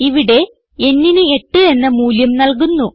ഇവിടെ nന് 8 എന്ന മൂല്യം നല്കുന്നു